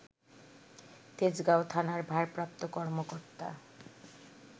তেজগাঁও থানার ভারপ্রাপ্ত কর্মকর্তা